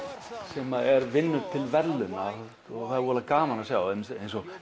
sem vinnur til verðlauna og það er voðalega gaman að sjá eins og